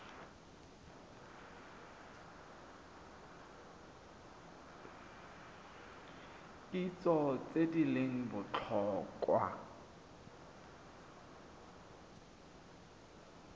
kitso tse di leng botlhokwa